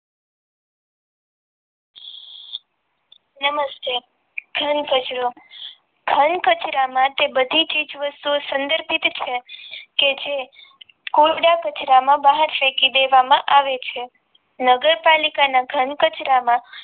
નમસ્તે ઘનકચરા ઘનકચરા માટે બધી ચીજવસ્તુવો સંદેશિત છે ક્જે કચરા માં બહાર ફેંકી દેવામાં આવે છે નગરપાલિકાના ઘનકચરામાં